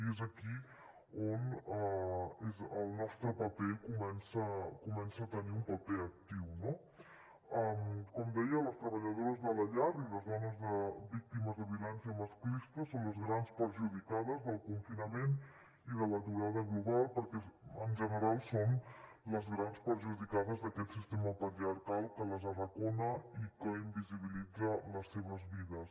i és aquí on el nostre paper comença a tenir un paper actiu no com deia les treballadores de la llar i les dones víctimes de violència masclista són les grans perjudicades del confinament i de l’aturada global perquè en general són les grans perjudicades d’aquest sistema patriarcal que les arracona i que invisibilitza les seves vides